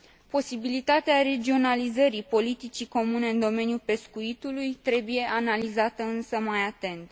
Posibilitatea regionalizării politicii comune în domeniul pescuitului trebuie analizată, însă, mai atent.